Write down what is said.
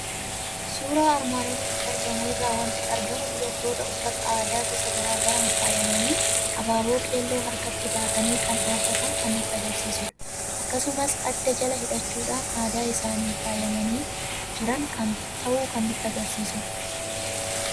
Suuraa armaan olitti argamu irraa waanti argamu; dubartoota uffata aadaa gosa garaagaraan faayamani hababoo keelloo harkatti baatanii kan dhaabbatan kan nutti agarsiisudha. Akkasumas adda jala hidhachuun aadaa isaanin faayamani jiran ta'uu kan nutti agarsiisudha.